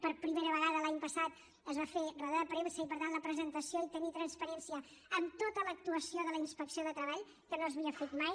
per primera vegada l’any passat es va fer roda de premsa i per tant la presentació i tenir transparència en tota l’actuació de la inspecció de treball que no s’havia fet mai